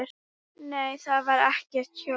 Nei, þar var ekkert hjól.